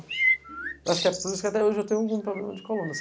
Acho que é por isso que até hoje eu tenho algum problema de coluna.